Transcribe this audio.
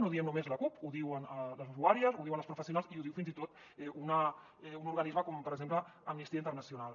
no ho diem només la cup ho diuen les usuàries ho diuen les professionals i ho diu fins i tot un organisme com per exemple amnistia internacional